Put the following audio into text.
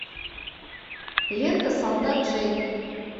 лента солдат джейн